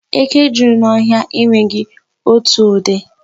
Eke juru n'ọhịa enweghi otu ụdị.